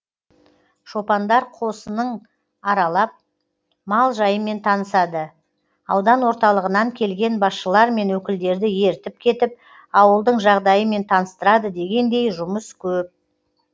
шопандар қосынын аралап мал жайымен танысады аудан орталығынан келген басшылар мен өкілдерді ертіп кетіп ауылдың жағдайымен таныстырады дегендей жұмыс көп